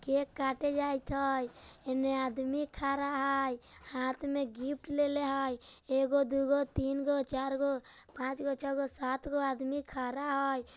केक काटे जाईत हेय इन्ने आदमी खड़ा हेय हाथ में गिफ्ट लेले हेय एगो दू गो तीन गो चार गो पांच गो छ गो सात गो आदमी खड़ा है।